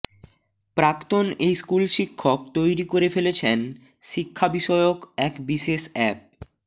প্রাক্তন এই স্কুলশিক্ষক তৈরি করে ফেলেছেন শিক্ষাবিষয়ক এক বিশেষ অ্যাপ